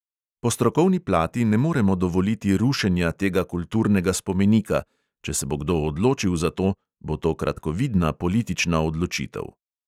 Po strokovni plati ne moremo dovoliti rušenja tega kulturnega spomenika; če se bo kdo odločil za to, bo to kratkovidna politična odločitev.